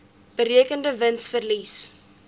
berekende wins verlies